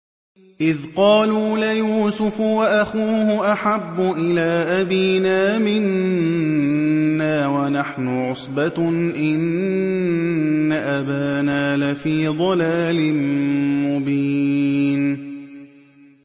إِذْ قَالُوا لَيُوسُفُ وَأَخُوهُ أَحَبُّ إِلَىٰ أَبِينَا مِنَّا وَنَحْنُ عُصْبَةٌ إِنَّ أَبَانَا لَفِي ضَلَالٍ مُّبِينٍ